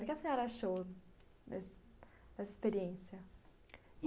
O que a senhora achou dessa experiência?